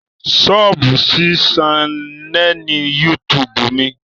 Sọ́ọ̀bù sí ṣánẹ́ẹ̀lì YouTube mi